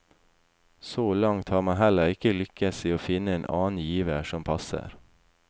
Så langt har man heller ikke lykkes i å finne en annen giver som passer.